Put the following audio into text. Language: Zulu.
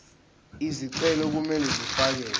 izicelo kumele zifakelwe